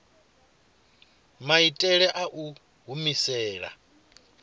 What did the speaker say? maitele a u i humisela